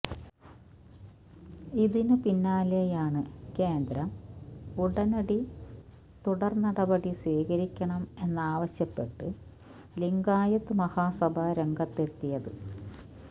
ഇതിനു പിന്നാലെയാണ് കേന്ദ്രം ഉടനടി തുടർനടപടി സ്വീകരിക്കണം എന്നാവശ്യപ്പെട്ട് ലിംഗായത്ത് മഹാസഭ രംഗത്തെത്തിയത്